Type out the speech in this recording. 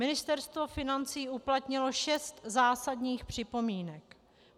Ministerstvo financí uplatnilo šest zásadních připomínek.